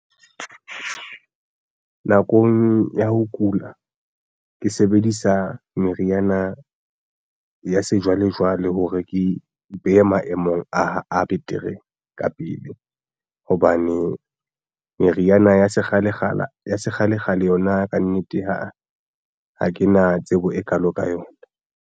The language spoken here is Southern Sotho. Nakong ya ho kula ke sebedisa meriana ya sejwalejwale hore ke be maemong a betere ka pele hobane meriana ya sekgalekgale yona kannete ha ke na tsebo e kalo ka yona.